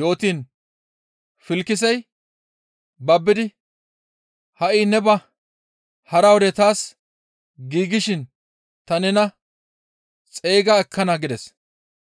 yootiin Filkisey babbidi, «Ha7i ne ba; hara wode taas giigshin ta nena xeyga ekkana» gides.